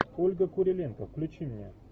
ольга куриленко включи мне